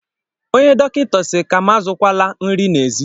Ònye Dọkịta si ka'm azukwa la nri n'ezi.